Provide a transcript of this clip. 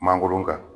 Mangoro ka